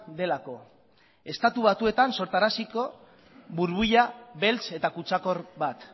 delako estatu batuetan sortaraziko burbuila beltz eta kutsakor bat